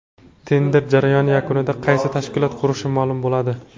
Tender jarayoni yakunida qaysi tashkilot qurishi ma’lum bo‘ladi”.